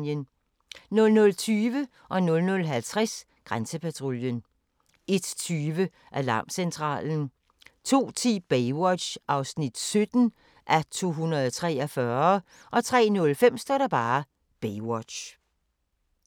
00:20: Grænsepatruljen 00:50: Grænsepatruljen 01:20: Alarmcentralen 02:10: Baywatch (17:243) 03:05: Baywatch